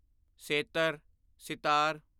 ਸੇਤਰ sitar